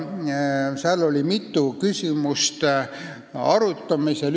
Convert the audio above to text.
Seal oli mitu küsimust arutamisel.